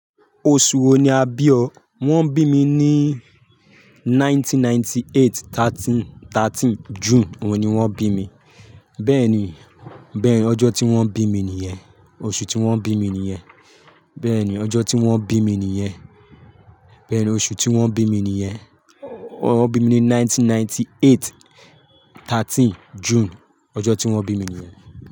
Oṣù wo ni a bí ọ? Wọ́n bí mi ní 1998, 13 June. Òun ni wọ́n bí mi. Bẹ́ẹ̀ni, bẹ́ẹ̀ni, ọjọ́ tí wọ́n bí mi nìyẹn. Oṣù tí wọ́n bí mi nìyẹn. Bẹ́ẹ̀ni, ọjọ́ tí wọ́n bí mi nìyẹn. Bẹ́ẹ̀ni, oṣù tí wọ́n bí mi nìyẹn. Wọ́n bí mi ní 1998, 13 June. Ọjọ́ tí wọ́n bí mi nìyẹn.